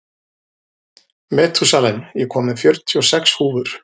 Metúsalem, ég kom með fjörutíu og sex húfur!